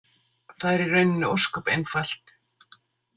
Það er í rauninni ósköp einfalt.